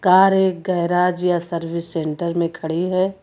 Car एक garage या service centre में खड़ी है।